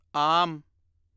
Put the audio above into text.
ਆਮ